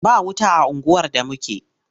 Ba wuta a unguwar da muke.